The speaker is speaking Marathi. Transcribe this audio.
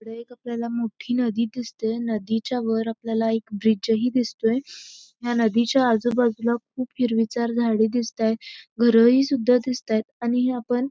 इकडे एक आपल्याला मोठी नदी दिसते नदीच्यावर आपल्याला एक ब्रिज हि दिसतोय ह्या नदीच्या आजूबाजूला खूप हिरवीगार झाडे दिसताय घरही सुद्धा दिसतायत आणि आपण--